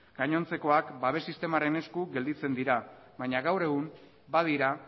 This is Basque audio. gainontzekoak babes sistemaren esku gelditzen dira baina gaur egun ba dira